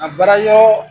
A baara yɔrɔɔ